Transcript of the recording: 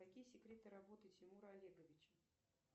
какие секреты работы тимура олеговича